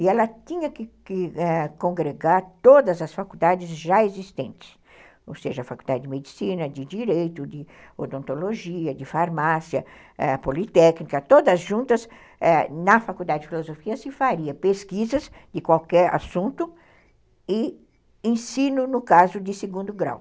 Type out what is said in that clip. E ela tinha que que congregar todas as faculdades já existentes, ou seja, a Faculdade de Medicina, de Direito, de Odontologia, de Farmácia, eh, Politécnica, todas juntas, na Faculdade de Filosofia se faria pesquisas de qualquer assunto e ensino, no caso, de segundo grau.